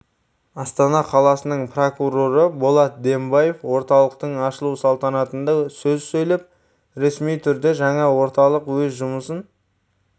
астана қаласының прокуроры болат дембаев орталықтың ашылу салтанатында сөз сөйлеп ресми түрде жаңа орталық өз жұмысын